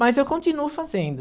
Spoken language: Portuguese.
Mas eu continuo fazendo.